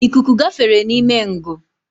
Ikuku gafere n’ime ngụ